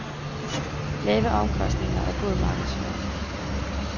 Lave omkostninger og god markedsføring.